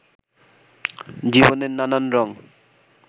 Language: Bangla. জীবনের নানান রঙ